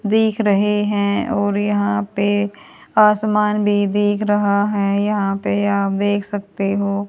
दिख रहे हैं और यहाँ पे आसमान भी देख रहा है और यहां पे आप देख सकते हो--